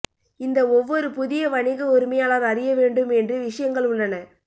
இந்த ஒவ்வொரு புதிய வணிக உரிமையாளர் அறிய வேண்டும் என்று விஷயங்கள் உள்ளன